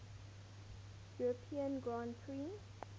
european grand prix